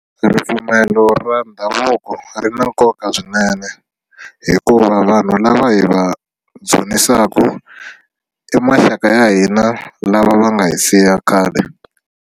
Ripfumelo ra ndhavuko ri na nkoka swinene hikuva vanhu lava hi va dzunisaka i maxaka ya hina lava va nga hi siya khale.